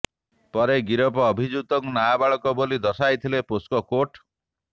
ପରେ ଗିରଫ ଅଭିଯୁକ୍ତକୁ ନାବାଳକ ବୋଲି ଦର୍ଶାଇଥିଲେ ପୋକ୍ସୋ କୋର୍ଟ